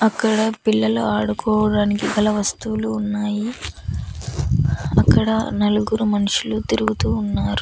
అక్కడ పిల్లలు ఆడుకోడానికి గల వస్తువులు ఉన్నాయి అక్కడ నలుగురు మనుషులు తిరుగుతూ ఉన్నారు.